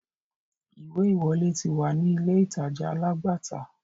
Ìwé-ìwọlé ti wà ní ilé-ìtàja alágbàtà.